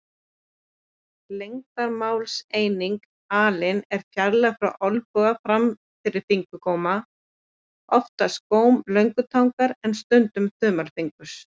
Lengdarmálseiningin alin er fjarlægðin frá olnboga fram fyrir fingurgóm, oftast góm löngutangar en stundum þumalfingurs.